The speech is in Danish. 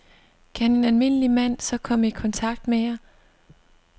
Kan en almindelig mand så komme i kontakt med jer?